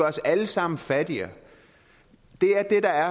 os alle sammen fattigere